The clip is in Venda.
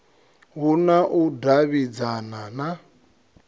hu na u davhidzana na